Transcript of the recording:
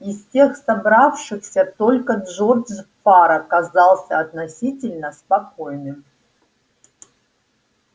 из всех собравшихся только джордж фара казался относительно спокойным